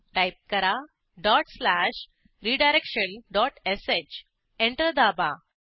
type करा dot slash redirection dot sh enter दाबा